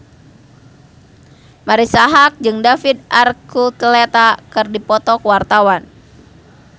Marisa Haque jeung David Archuletta keur dipoto ku wartawan